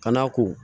Ka n'a ko